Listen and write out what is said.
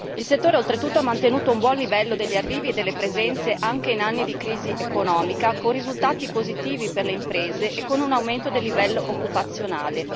Il settore, oltretutto, ha mantenuto un buon livello degli arrivi e delle presenze anche in anni di crisi economica, con risultati positivi per le imprese e con un aumento del livello occupazionale.